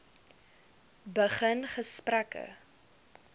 begin gesprekke